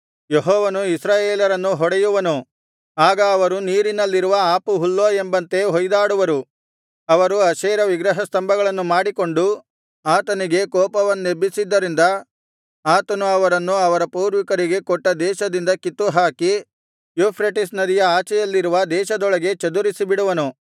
ಯೆಹೋವನು ಇಸ್ರಾಯೇಲರನ್ನು ಹೊಡೆಯುವನು ಆಗ ಅವರು ನೀರಿನಲ್ಲಿರುವ ಆಪುಹುಲ್ಲೋ ಎಂಬಂತೆ ಹೊಯ್ದಾಡುವರು ಅವರು ಅಶೇರ ವಿಗ್ರಹಸ್ತಂಭಗಳನ್ನು ಮಾಡಿಕೊಂಡು ಆತನಿಗೆ ಕೋಪವನ್ನೆಬ್ಬಿಸಿದ್ದರಿಂದ ಆತನು ಅವರನ್ನು ಅವರ ಪೂರ್ವಿಕರಿಗೆ ಕೊಟ್ಟ ದೇಶದಿಂದ ಕಿತ್ತುಹಾಕಿ ಯೂಫ್ರೆಟಿಸ್ ನದಿಯ ಆಚೆಯಲ್ಲಿರುವ ದೇಶದೊಳಗೆ ಚದುರಿಸಿಬಿಡುವನು